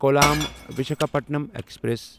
column Visakhapatnam express